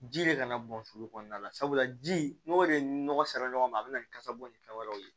Ji de kana bɔn sulu kɔnɔna la sabula ji n'o de ye nɔgɔ sera ɲɔgɔn ma a bɛ na ni kasa bɔ ni fɛn wɛrɛw ye